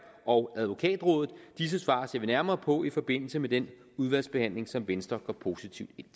og advokatrådet disse svar ser vi nærmere på i forbindelse med den udvalgsbehandling som venstre går positivt ind